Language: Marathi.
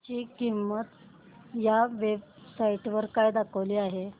ची किंमत या वेब साइट वर काय दाखवली आहे